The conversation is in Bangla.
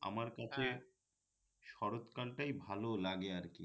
আমার কাছে শরৎকাল টাই ভালো লাগে আরকি